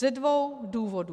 Ze dvou důvodů.